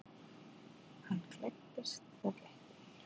Hann klæddist og gekk út.